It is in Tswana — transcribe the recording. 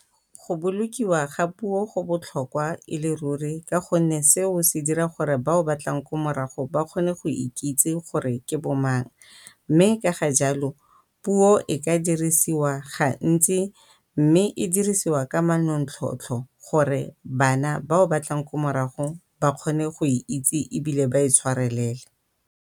Go bolokiwa ga puo go botlhokwa e le ruri ka go nne seo se dira gore bao ba tlang ko morago ba kgone go ikitse gore ke bo mang mme ka ga jalo puo e ka dirisiwa gantsi mme e dirisiwa ka manontlhotlho gore bana bao ba tlang ko marago ba kgone go e itse ebile ba e tshwarelele.